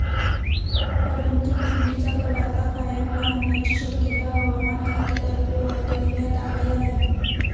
परंतु, थंडीचा कडाका कायम राहण्याची शक्यता हवामान खात्यातर्फे वर्तविण्यात आली आहे.